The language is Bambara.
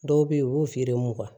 Dɔw bɛ yen u b'u feere mugan